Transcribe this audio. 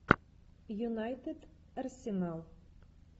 юнайтед арсенал